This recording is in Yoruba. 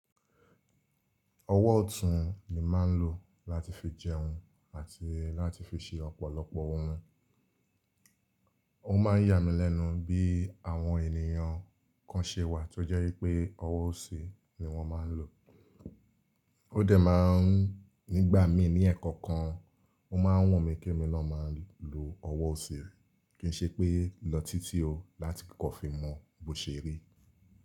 Ọwọ́ ọ̀tún ni mà ń lò láti fi jẹun àti láti fi ṣe ọ̀pọ̀lọpọ̀ ohun. Ó ma ń yà mí lẹ́nu bí àwọn ènìyàn kan ṣe wà tó jẹ́ wípé ọwọ́ ọ̀sẹ̀ ni wọ́n máa ń lò. Ó dẹ̀ máa ń nígbà mí ní ẹ̀ẹ̀kan kan, ó máa ń wọ̀n mi kí mo lọ máa lò ọwọ́ ọ̀sẹ̀ rí kí n ṣe pé lọ títí o láti kíkọ́ fi mọ bó ṣe rí.